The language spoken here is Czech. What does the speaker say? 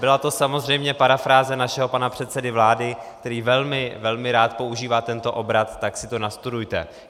Byla to samozřejmě parafráze našeho pana předsedy vlády, který velmi, velmi rád používá tento obrat: "tak si to nastudujte".